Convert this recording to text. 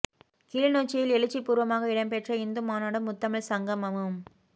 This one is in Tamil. கிளிநொச்சியில் எழுச்சி பூர்வமாக இடம்பெற்ற இந்து மாநாடும் முத்தமிழ் சங்கமமும்